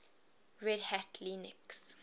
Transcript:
red hat linux